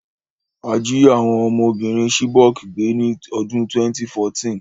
A jí àwon ọmọbìrin Chibok gbé ni odún 2014